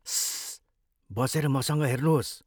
स्सस.. बसेर मसँग हेर्नुहोस्।